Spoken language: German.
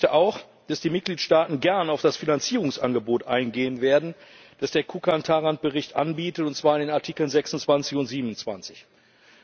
Aber ich befürchte auch, dass die Mitgliedstaaten gern auf das Finanzierungsangebot eingehen werden, das der Bericht von Kukan und Tarand in den Artikeln 26 und 27 macht.